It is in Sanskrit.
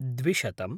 द्विशतम्